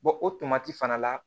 o tomati fana la